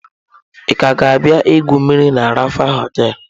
Ị ka ga-abịa igwu mmiri na Rapha hoteelu?